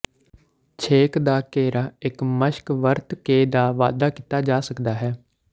ਛੇਕ ਦਾ ਘੇਰਾ ਇੱਕ ਮਸ਼ਕ ਵਰਤ ਕੇ ਦਾ ਵਾਧਾ ਕੀਤਾ ਜਾ ਸਕਦਾ ਹੈ